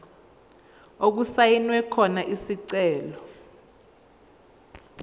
okusayinwe khona isicelo